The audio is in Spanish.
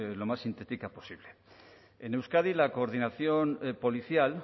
lo más sintética posible en euskadi la coordinación policial